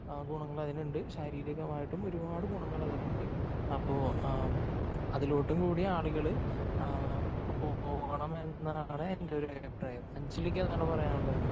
ഗുണങ്ങൾ അതിനുണ്ട്. ശാരീരികമായിട്ടും ഒരുപാട് ഗുണങ്ങൾ അതിനുണ്ട്. അപ്പോ ആ അതിലോട്ടും കൂടി ആളുകള് പോകണമെന്നാണ് എന്റെ ഒരു അഭിപ്രായം. അഞ്ജലിക്ക് എന്താണ് പറയാനുള്ളത്?